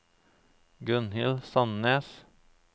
Gunnhild Sandnes